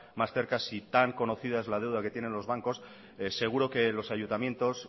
más cerca si tan conocida es la deuda que tienen los bancos seguro que los ayuntamientos